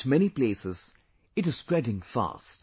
At many places, it is spreading fast